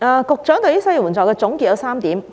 局長對於失業援助的總結主要有3點。